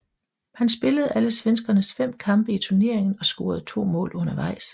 Han spillede alle svenskernes fem kampe i turneringen og scorede to mål undervejs